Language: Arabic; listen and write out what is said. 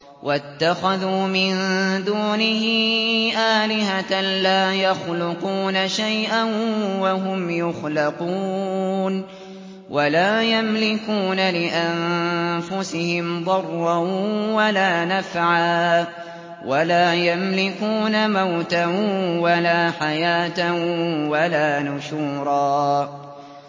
وَاتَّخَذُوا مِن دُونِهِ آلِهَةً لَّا يَخْلُقُونَ شَيْئًا وَهُمْ يُخْلَقُونَ وَلَا يَمْلِكُونَ لِأَنفُسِهِمْ ضَرًّا وَلَا نَفْعًا وَلَا يَمْلِكُونَ مَوْتًا وَلَا حَيَاةً وَلَا نُشُورًا